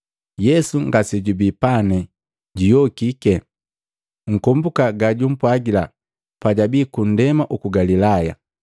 Yesu ngasejubii pane, juyokiki. Nkombuka gajumpwagila pajabii ku ndema uku Galilaya.